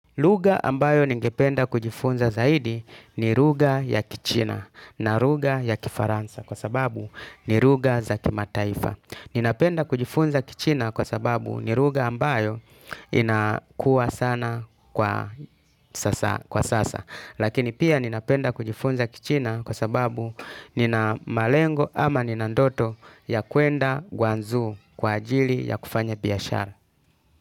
Lugha ambayo ningependa kujifunza zaidi ni lugha ya kichina na lugha ya kifaransa kwa sababu ni lugha za kimataifa. Ninapenda kujifunza kichina kwa sababu ni lugha ambayo inakua sana kwa sasa. Lakini pia ninapenda kujifunza kichina kwa sababu nina malengo ama nina ndoto ya kwenda gwanzu kwa ajili ya kufanya biashara.